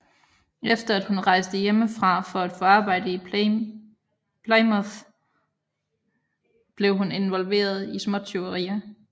Efter at hun rejste hjemmefra for at få arbejde i Plymouth blev hun involveret i småtyverier